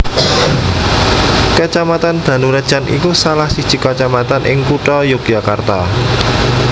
Kacamatan Danurejan iku salah siji kacamatan ing Kutha Yogyakarta